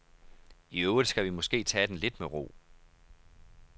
I øvrigt skal vi måske tage den lidt med ro.